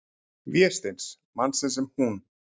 Vésteins, mannsins sem hún-